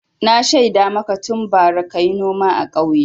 Na shaida maka tun bara ka yi noma a ƙauye.